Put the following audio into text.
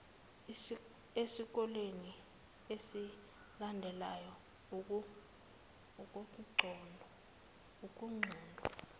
esikoleni esilandelayo ukuqonda